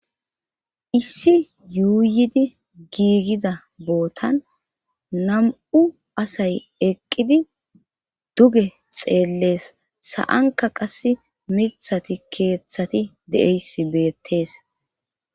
issi yuuyidi giigida bootan nam7u asay eqqidi duge xeellees sa7anka qas mithati keeththati de7eys beettees